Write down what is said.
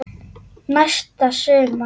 Næsta sumar?